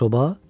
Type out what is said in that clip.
Soba?